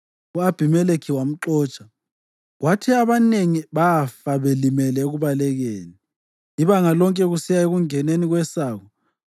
U-Abhimelekhi wamxotsha, kwathi abanengi bafa belimele ekubalekeni, ibanga lonke kusiya ekungeneni kwesango.